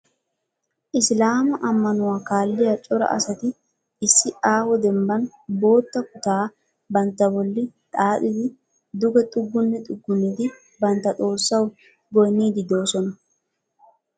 Isilaama ammanuwa kaalliya cora asati issi aaho dembbaani bootta kutaa bantta bolli xaaxidi duge xuggunni xuggunnidi bantta xoossawu goyinniiddi doosona.